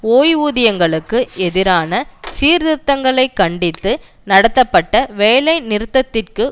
ஓய்வூதியங்களுக்கு எதிரான சீர்திருத்தங்களை கண்டித்து நடத்தப்பட்ட வேலைநிறுத்தத்திற்கு